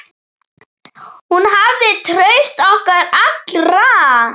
Hún hafði traust okkar allra.